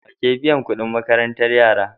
Wake biyan Ƙudin makarantar yara